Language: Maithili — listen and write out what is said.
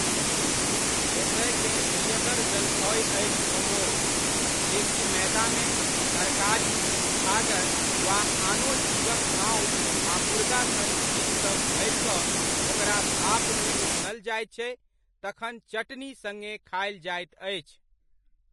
एतयकेँ प्रियगर जलखै अछि मोमोस, जेकि मैदामे, तरकारी, छागर वा आनो जीवक मासु आ मुर्गा सन चीज सभ भरि कऽ ओकरा भापमे उसनल जाइत छै तखन चटनी सड़्गे खायल जाइत अछि।